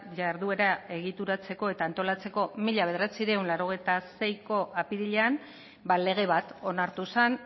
jarduera egituratzeko eta antolatzeko mila bederatziehun eta laurogeita seiko apirilean lege bat onartu zen